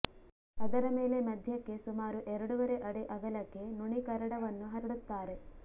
ಅದರ ಮೇಲೆ ಮಧ್ಯಕ್ಕೆ ಸುಮಾರು ಎರಡೂವರೆ ಅಡಿ ಅಗಲಕ್ಕೆ ನುಣಿಕರಡವನ್ನು ಹರಡುತ್ತಾರೆ